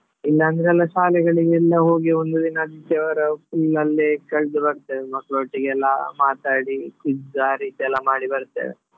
ಇಲ್ಲಾಂದ್ರೆ ಎಲ್ಲ ಶಾಲೆಗಳಿಗೆ ಎಲ್ಲ ಹೋಗಿ ಒಂದು ದಿನ ಆದಿತ್ಯವಾರ full ಅಲ್ಲೇ ಕಳ್ದು ಬರ್ತೇವೆ ಮಕ್ಳೊಟ್ಟಿಗೆಲ್ಲ ಮಾತಾಡಿ ಇದ್ದ ರೀತಿಯೆಲ್ಲ ಮಾಡಿ ಬರ್ತೇವೆ.